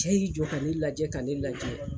Cɛ y'i jɔ ka ne lajɛ ka ne lagɛ.